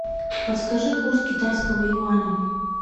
подскажи курс китайского юаня